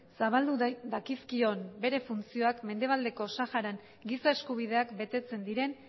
zabaldu dakizkion bere funtzioak mendebaldeko saharan giza eskubideak betetzen diren